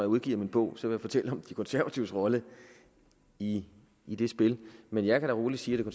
udgiver min bog vil jeg fortælle om de konservatives rolle i i det spil men jeg kan da roligt sige at det